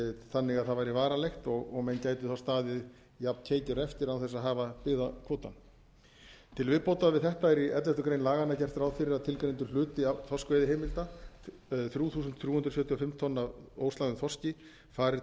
þannig að það væri varanlegt og menn gætu staðið jafn keikir eftir án þess að hafa byggðakvóta til viðbótar við þetta er í elleftu grein laganna gert ráð fyrir að tilgreindur hluti þorskveiðiheimilda þrjú þúsund þrjú hundruð sjötíu og fimm tonn af óslægðum þorski fari